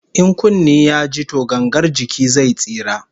In kunne ya ji to gangar jiki zai tsira